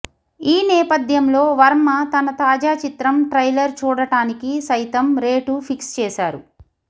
ఈ నేపధ్యంలో వర్మ తన తాజా చిత్రం ట్రైలర్ చూడటానికి సైతం రేటు ఫిక్స్ చేసారు